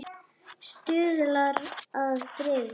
Stuðlað að friði